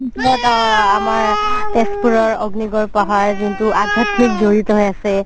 আ তাৰ পিছত আমাৰ তেজপুৰৰ অগ্নিগড় পাহাৰ যোনতো আধ্যাত্মিক যৰিত হয় আছে